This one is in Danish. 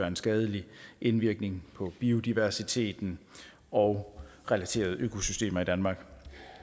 en skadelig indvirkning på biodiversiteten og relaterede økosystemer i danmark